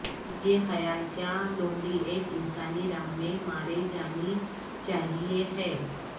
یہ خیال کیا لومڑی ایک انسانی راہ میں مارے جانی چاہئے ہے